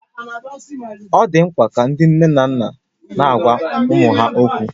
Ọ dị mkpa ka ndị nne na nna na-agwa ụmụ ha okwu